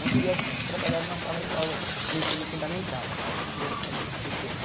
Não queria trabalhar numa sala de aula no ensino fundamental, só com criança mesmo, pequena.